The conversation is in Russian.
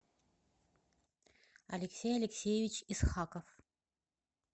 алексей алексеевич исхаков